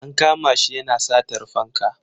An kama shi yana satar fanka.